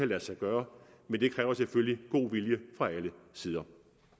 lade sig gøre men det kræver selvfølgelig god vilje fra alle sider